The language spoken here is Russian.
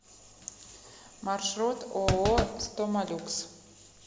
маршрут ооо стомалюкс